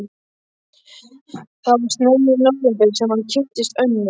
Það var snemma í nóvember sem hann kynntist Önnu.